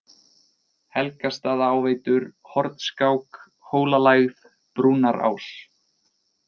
Helgastaðaáveitur, Hornskák, Hólalægð, Brúnarás